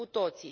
cu toții